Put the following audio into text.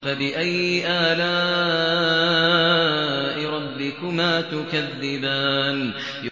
فَبِأَيِّ آلَاءِ رَبِّكُمَا تُكَذِّبَانِ